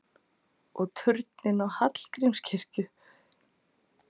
Og turninn á Hallgrímskirkju!